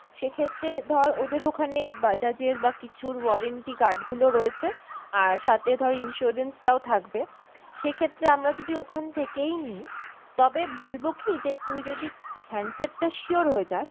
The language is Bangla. সেক্ষেত্রে ধর ওদের ওখানে Bajaj এর বা কিছুর warranty card গুলো রয়েছে আর সাথে ধর insurance টাও থাকবে, সেক্ষেত্রে আমরা যদি ওখান থেকেই নি তবে বলবো কী যে তুই যদি handset টা sure হয়ে যাস